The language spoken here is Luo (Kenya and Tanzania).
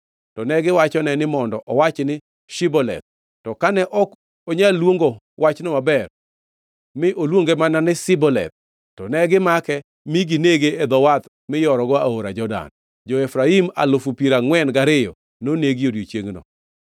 to negiwachone ni mondo owach ni Shiboleth. To kane ok onyal luongo wachno maber, mi oluonge mana ni Siboleth, to negimake mi ginege e dho wath miyorogo aora Jordan. Jo-Efraim alufu piero angʼwen gariyo nonegi odiechiengno.